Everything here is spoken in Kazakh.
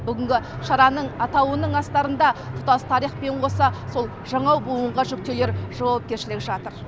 бүгінгі шараның атауының астарында тұтас тарихпен қоса сол жаңа буынға жүктелер жауапкершілік жатыр